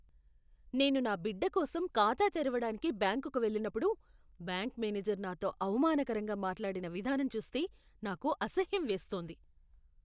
నేను నా బిడ్డకోసం ఖాతా తెరవడానికి బ్యాంకుకు వెళ్ళినప్పుడు బ్యాంకు మేనేజర్ నాతో అవమానకరంగా మాట్లాడిన విధానం చూస్తే నాకు అసహ్యం వేస్తోంది.